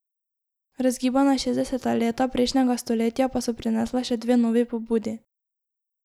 Razgibana šestdeseta leta prejšnjega stoletja pa so prinesla še dve novi pobudi.